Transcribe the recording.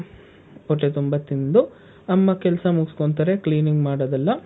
ಹೊಟ್ಟೆ ತುಂಬಾ ತಿಂದು ಅಮ್ಮ ಕೆಲಸ ಮುಗುಸ್ಕೊಂತರೆ cleaning ಮಾಡೋದೆಲ್ಲ,